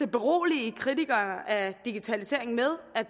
berolige kritikere af digitaliseringen med at